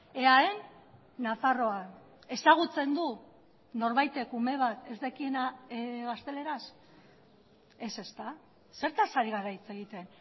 eaen nafarroan ezagutzen du norbaitek ume bat ez dakiena gazteleraz ez ezta zertaz ari gara hitz egiten